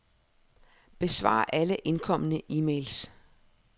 Besvar alle indkomne e-mails.